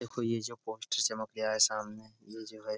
देखो ये जो पोस्टर चमक रिहा है सामने ये जो है --